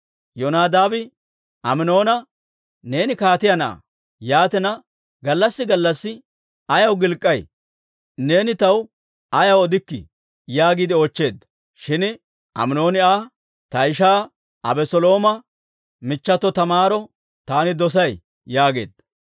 Yonadaabi Aminoona, «Neeni kaatiyaa na'aa; yaatina, gallassi gallassi ayaw gilk'k'ay? Neeni taw ayaw odikkii?» yaagiide oochcheedda. Shin Aminooni Aa, «Ta ishaa Abeselooma michchato Taamaaro taani dosay» yaageedda.